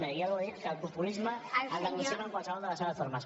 ja ho he dit que el populisme el denunciava en qualsevol de les seves formes